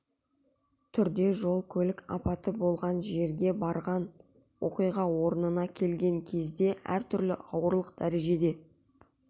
түрде жол көлік апаты болған жерге барған оқиға орнына келген кезде әр түрлі ауырлық дәрежеде